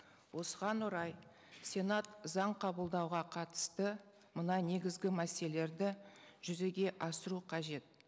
осыған орай сенат заң қабылдауға қатысты мына негізгі мәселелерді жүзеге асыру қажет